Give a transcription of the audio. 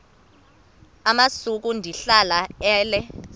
amasuka ndihlala ale